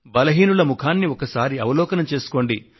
బలహీనుల ముఖాన్ని ఒకసారి అవలోకనం చేసుకోండి